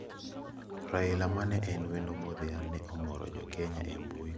Raila, mane en wendo modhial ne omoro jokenya e mbui kowacho kaka jothum ndiko.